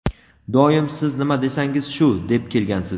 Doim "siz nima desangiz shu" deb kelgansiz.